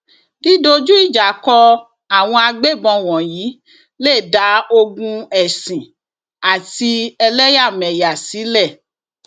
dídójú ìjà kó àwọn agbébọn wọnyí lè dá ogún ẹsìn àti ẹlẹyàmẹyà sílẹ